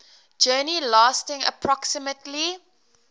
journey lasting approximately